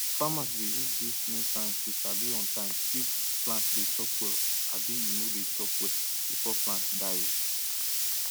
farmers dey use dis new science to sabi on time if plant dey chop well abi e no dey chop well before plant die o